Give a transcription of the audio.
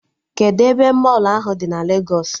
Kedụ ebe mọlụ ahụ dị na Legos?